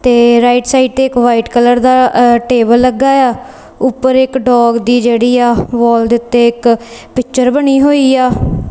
ਤੇ right side ਤੇ ਇਕ ਵਾਈਟ ਕਲਰ ਦਾ ਟੇਬਲ ਲੱਗਾ ਆ ਉੱਪਰ ਇੱਕ ਡੋਗ ਦੀ ਜਿਹੜੀ ਆ ਵੋਲ ਦੇ ਉਤੇ ਇੱਕ ਪਿੱਚਰ ਬਣੀ ਹੋਈ ਆ।